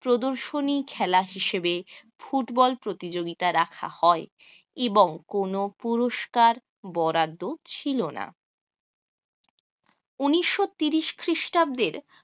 প্রদর্শনী খেলা হিসেবে ফুটবল প্রতিযোগিতা রাখা হয় এবং কোন পুরস্কার বরাদ্দ ছিল না। উনিশ শ তিরিশ খ্রিস্টাব্দের